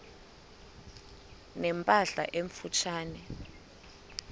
ne mpahla emfutshane